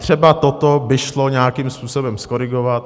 Třeba toto by šlo nějakým způsobem zkorigovat.